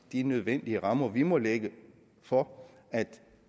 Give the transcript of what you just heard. de nødvendige rammer vi må lægge for at